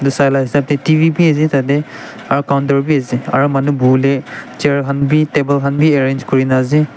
etu sai laga hisab te T_V bhi ase tarte aru counter bhi ase aru manu bohele chair khan bhi table khan arrange kori na ase.